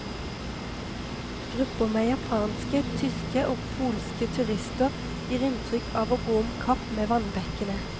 Grupper med japanske, tyske og polske turister gir inntrykk av å gå om kapp med vannbekkene.